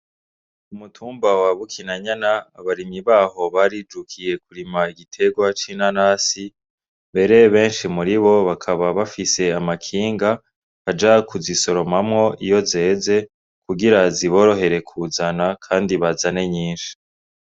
Umutumba wabukina nyana abarimi baho bari jukiye kurima igitegwa c'ina nasi mbere benshi muri bo bakaba bafise amakinga bajakuza i soromamwo iyo zeze kugira ziborohere kuzana, kandi bazane nyinshi.